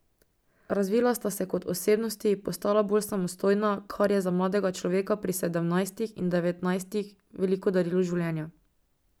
Razvila sta se kot osebnosti, postala bolj samostojna, kar je za mladega človeka pri sedemnajstih in devetnajstih veliko darilo življenja.